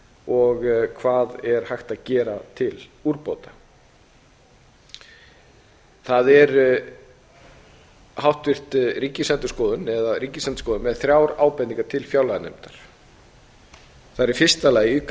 og hvað er hægt að gera til úrbóta ríkisendurskoðun er með þrjár ábendingar til fjárlaganefndar það er í fyrsta lagi auka